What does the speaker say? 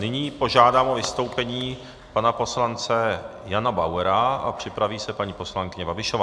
Nyní požádám o vystoupení pana poslance Jana Bauera a připraví se paní poslankyně Babišová.